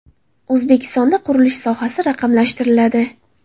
O‘zbekistonda qurilish sohasi raqamlashtiriladi.